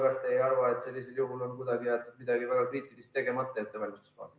Ja kas te ei arva, et sellisel juhul on kuidagi jäetud midagi väga kriitilist tegemata ettevalmistustes?